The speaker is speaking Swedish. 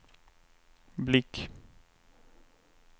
blick